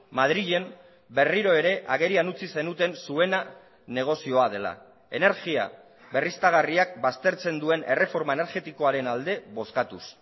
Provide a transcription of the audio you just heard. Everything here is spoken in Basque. madrilen berriro ere agerian utzi zenuten zuena negozioa dela energia berriztagarriak baztertzen duen erreforma energetikoaren alde bozkatuz